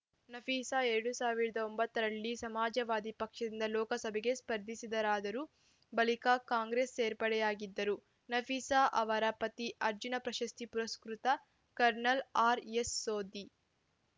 ನಫೀಸಾ ಎರಡ್ ಸಾವಿರದ ಒಂಬತ್ತ ರಲ್ಲಿ ಸಮಾಜವಾದಿ ಪಕ್ಷದಿಂದ ಲೋಕಸಭೆಗೆ ಸ್ಪರ್ಧಿಸಿದ್ದರಾದರೂ ಬಳಿಕ ಕಾಂಗ್ರೆಸ್‌ ಸೇರ್ಪಡೆಯಾಗಿದ್ದರು ನಫೀಸಾ ಅವರ ಪತಿ ಅರ್ಜುನ ಪ್ರಶಸ್ತಿ ಪುರಸ್ಕೃತ ಕರ್ನಲ್‌ ಆರ್‌ಎಸ್‌ಸೋಧಿ